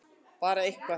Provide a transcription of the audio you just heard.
Bara eitthvað!!!